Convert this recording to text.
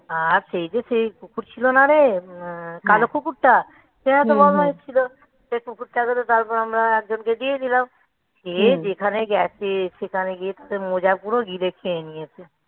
আর সেই যে সেই কুকুর ছিল না রে কালো কুকুরটা এরা তো বদমাইশ ছিল. সেই কুকুরটা তারপর আমরা একজনকে দিয়েই দিলাম দিয়ে সে যেখানে গেছে সেখানে গিয়ে তো মোজা পুরো গিলে খেয়ে নিয়েছে,